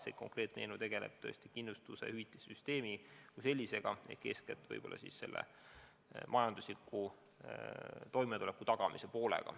See eelnõu tegeleb kindlustuse, hüvitissüsteemi kui sellisega, eeskätt just majandusliku toimetuleku tagamisega.